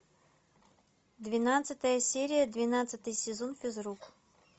двенадцатая серия двенадцатый сезон физрук